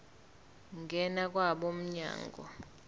ngena kwabo mnyango